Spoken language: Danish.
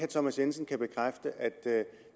thomas jensen kan bekræfte at